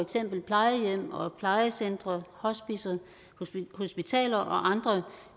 eksempel plejehjem plejecentre hospicer hospitaler og andre